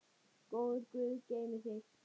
Góður guð geymi þig.